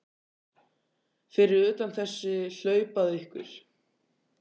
Fyrir utan þessi hlaup að ykkur?